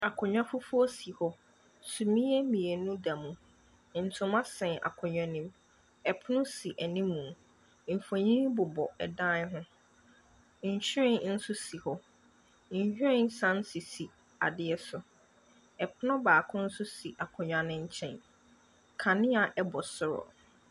Akonnwa fufuo si hɔ. Sumiiɛ mmienu da mu. Ntoma sɛn akonnwa no mu. Pono si anim. Mfonin bobɔ dan ho. Nhwiren nso si hɔ. Nhwiren sane sisi adeɛ so. Pono baako nso si akonnwa no nkyɛn. Kanea bɔ soro.